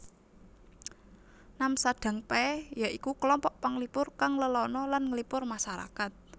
Namsadangpae ya iku klompok panglipur kang lelana lan nglipur masarakat